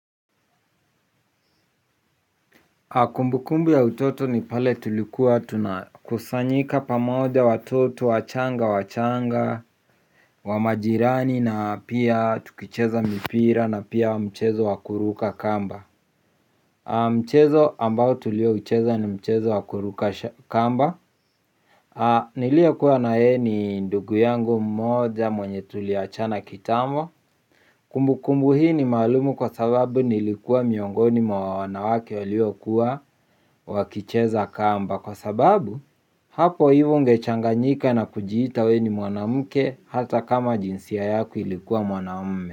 Kumbukumbu ya utoto ni pale tulikuwa tunakusanyika pamoja watoto, wachanga wachanga, wamajirani na pia tukicheza mipira na pia mchezo wakuruka kamba. Mchezo ambao tuliocheza ni mchezo wakuruka kamba. Niliokua nayeye ni ndugu yangu mmoja mwenye tuliachana kitambo. Kumbukumbu hii ni malumu kwa sababu nilikuwa miongoni mwa wanawake waliokuwa wakicheza kamba. Kwa sababu, hapo hivo ungechanganyika na kujiita we ni mwanamke hata kama jinsia yako ilikuwa mwanamume.